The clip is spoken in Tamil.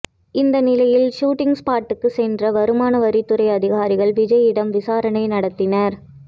இந்நிலையில் சூட்டிங் ஸ்பாடுக்கு சென்ற வருமான வரித் துறை அதிகாரிகள் விஜய்யிடம் விசாரணை நடத்தினர்